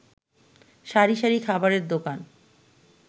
সারি সারি খাবারের দোকান